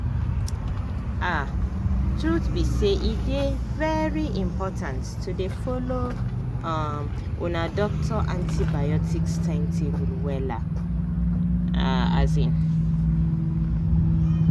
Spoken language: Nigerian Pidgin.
ahtruth be say e dey very important to dey follow um una doctor antibiotics timetable wella. um